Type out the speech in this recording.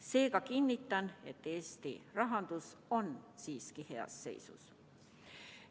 Seega kinnitan, et Eesti rahandus on siiski heas seisus.